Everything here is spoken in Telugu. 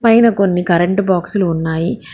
పైన కొన్ని కరెంటు బాక్సు లు ఉన్నాయి.